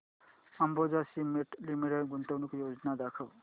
Ambuja cement limited गुंतवणूक योजना दाखव